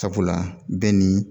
Sabula bɛɛ ni